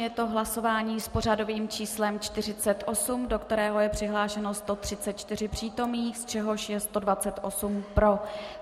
Je to hlasování s pořadovým číslem 48, do kterého je přihlášeno 143 přítomných, z čehož je 128 pro.